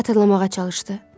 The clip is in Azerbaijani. Xatırlamağa çalışdı.